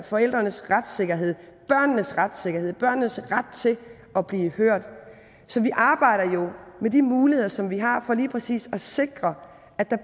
forældrenes retssikkerhed børnenes retssikkerhed børnenes ret til at blive hørt så vi arbejder jo med de muligheder som vi har for lige præcis at sikre at der